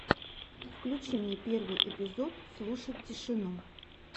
включи мне первый эпизод слушать тишину